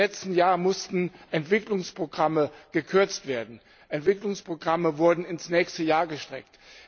Im letzten Jahr mussten Entwicklungsprogramme gekürzt werden, Entwicklungsprogramme wurden ins nächste Jahr gestreckt.